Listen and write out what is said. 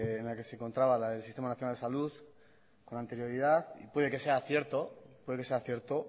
en la que se encontraba la del sistema nacional de salud con anterioridad y puede que sea cierto